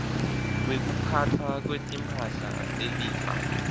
wekuphatfwa kwetimphahla telifa